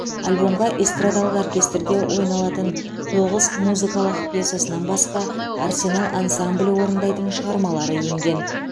альбомға эстрадалық оркестрде ойналатын тоғыз музыкалық пьесасынан басқа арсенал ансамблі орындайтын шығармалары енген